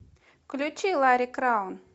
включи ларри краун